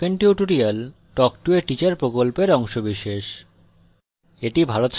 spoken tutorial talk to a teacher প্রকল্পের অংশবিশেষ